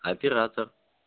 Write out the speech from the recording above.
оператор